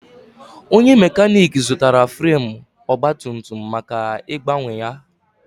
Onye mekanik zụtara fremu ogbatumtum maka ịgbanwe ya.